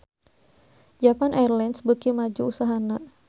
Japan Airlines beuki maju usahana